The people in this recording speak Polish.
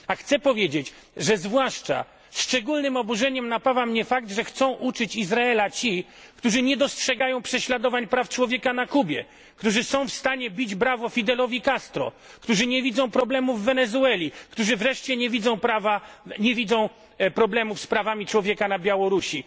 Chcę powiedzieć, że zwłaszcza szczególnym oburzeniem napawa mnie fakt, że chcą pouczać Izrael ci, którzy nie dostrzegają prześladowań praw człowieka na Kubie, którzy są w stanie bić brawo Fidelowi Castro, którzy nie widzą problemu w Wenezueli, którzy wreszcie nie widzą problemów z prawami człowieka na Białorusi.